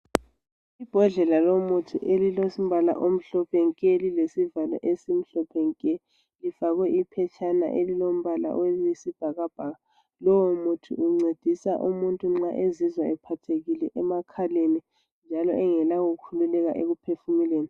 Ibhodlela lomuthi elilombali omhlophe nke lilesivalo esimhlophe nke lifakwe iphetshana elilombala oyisibhakabhaka. Lowo muthi uncedisa umuntu nxa ezizwa ephathekile emakhaleni njalo engela kukhululeka ekuphefumuleni.